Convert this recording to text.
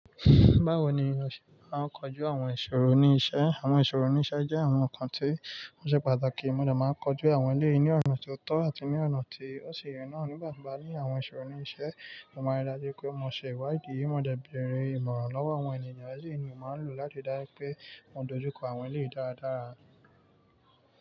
Báwo ni a se máa ń kojú àwọn ìṣòro ní iṣẹ́? Àwọn ìṣòro ní iṣẹ́ jẹ́ àwọn nǹkan tí ó ṣe pàtàkì. Mo dà máa ń kojú àwọn eléyìí ní ọ̀nà tó tọ́ àti ní ọ̀nà tí ó ṣe ye nà nípa tì bánisọ̀rọ̀ ní iṣẹ́. Mo máa ríi dájú pé mo ṣe ìwádìí. Mo dà ń bẹ̀rẹ̀ ìmọ̀ràn lọ́wọ́ àwọn ènìyàn à èle ni mo máa lò láti dájú pé mo dojú kọ àwọn eléyìí dáradára.